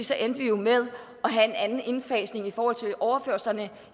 så endte vi jo med at have en anden indfasning i forhold til overførslerne